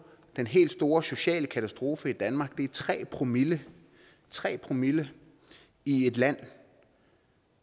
den helt store sociale katastrofe i danmark er tre promille tre promille i et land